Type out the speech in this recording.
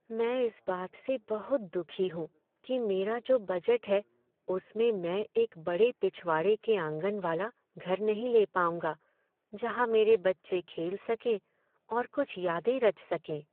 मैं इस बात से बहुत दुखी हूँ कि मेरा जो बजट है उसमें मैं एक बड़े पिछवाड़े के आँगन वाला घर नहीं ले पाऊँगा जहाँ मेरे बच्चे खेल सकें और कुछ यादें रच सकें।